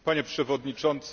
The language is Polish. Panie Przewodniczący!